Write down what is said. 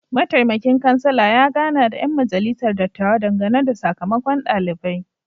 Mataimakin kansala ya gana da ‘yan majalisar dattawa dangane da sakamakon dalibai.